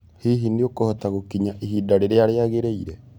Hihi nĩũkũhota gũkĩnya ĩhĩda rĩrĩa rĩagĩrĩĩre?